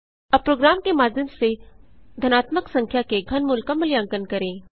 अब प्रोग्राम के माध्यम से धनात्मक संख्या के घनमूल का मूल्यांकन करें